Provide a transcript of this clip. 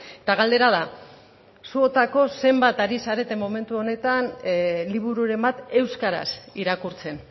eta galdera da zuotako zenbat ari zarete momentu honetan libururen bat euskaraz irakurtzen